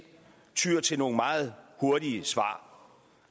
tyr til nogle meget hurtige svar